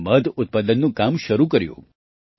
તેમણે મધ ઉત્પાદનનું કામ શરૂ કર્યું